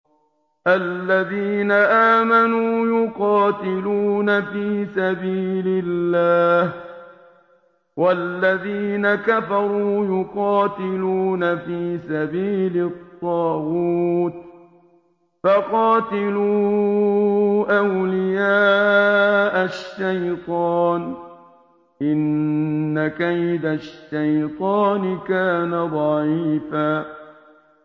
الَّذِينَ آمَنُوا يُقَاتِلُونَ فِي سَبِيلِ اللَّهِ ۖ وَالَّذِينَ كَفَرُوا يُقَاتِلُونَ فِي سَبِيلِ الطَّاغُوتِ فَقَاتِلُوا أَوْلِيَاءَ الشَّيْطَانِ ۖ إِنَّ كَيْدَ الشَّيْطَانِ كَانَ ضَعِيفًا